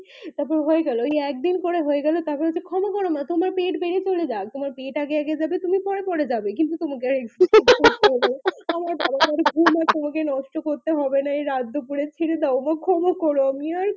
তার পর হয়ে গেল ওই একদিন করে হয়ে গেল তার পর ক্ষমা করো মা তোমার পেট বেড়িয়ে চলে যাক তোমার পেট আগে আগে যাবে তুমি পরে পরে যাবে কিন্তু তোমাকে আর exercises করতে হবে না হা হা হা আমার বাড়ে বাড়ে ঘুম আর তোমাকে নষ্ট করতে হবে না এই রাত দুপুরে ছেড়ে দাও মা ক্ষমা করো আমি আর